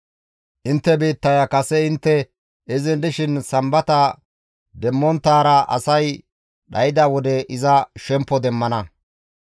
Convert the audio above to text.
Intte biittaya kase intte izin dishin Sambata demmonttaara asay dhayda wode iza shemppo demmana.